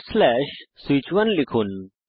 switch1 লিখুন